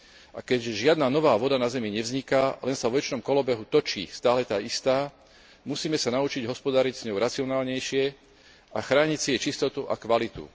A keďže žiadna nová voda na Zemi nevzniká, len sa vo večnom kolobehu točí stále tá istá, musíme sa naučiť hospodáriť s ňou racionálnejšie a chrániť si jej čistotu a kvalitu.